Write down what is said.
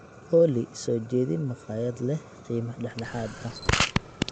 olly soo jeedin makhaayad leh qiime dhexdhexaad ah